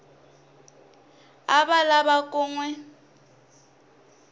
a lava ku n wi